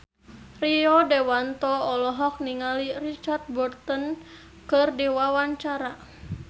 Rio Dewanto olohok ningali Richard Burton keur diwawancara